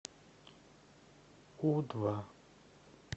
у два